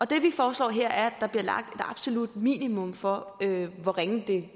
det vi foreslår her er der bliver lagt et absolut minimum for hvor ringe det